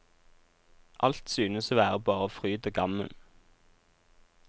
Alt synes å være bare fryd og gammen.